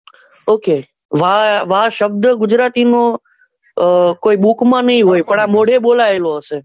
Okay વા, વા શબ્દ ગુજરાતી નો આહ કોઈ book માં નાઈ હોય પણ આં મુખ માં બોલાય છે.